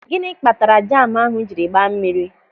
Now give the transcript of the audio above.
Gịnị kpatara jamu ahụ jiri gbaa mmiri?